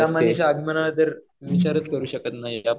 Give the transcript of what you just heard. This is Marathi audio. चिंतामणीच्या आगमनाचा तर विचारच करू शकत नाही.